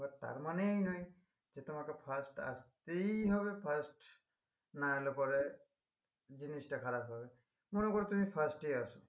But তার মানে এই নয় যে তোমাকে first আসতেই হবে first না এলে পরে জিনিসটা খারাপ হবে মনে করো তুমি first ই আসো